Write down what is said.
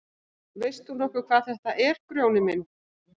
Veist þú nokkuð hvað þetta er Grjóni minn.